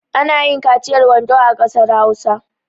Ana yin kaciyar wando a ƙasar Hausa.